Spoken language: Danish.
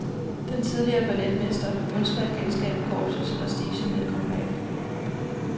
Den tidligere balletmester ønsker at genskabe korpsets prestige med et comeback.